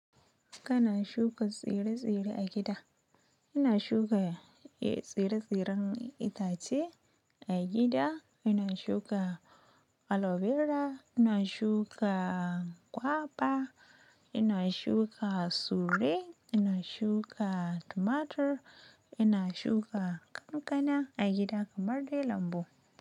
Kana shuka tsire-tsire a gida. Ina shuka tsire-tsiren itace a gida, ina shuka aloe vera, ina shuka kwaɓa, ina shuka sure, ina shuka tumatur, ina shuka ƙanƙana a gida kamar dai lambu.